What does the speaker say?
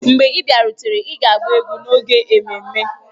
Mgbe ị bịarutere, ị ga-agba egwu n'oge ememme!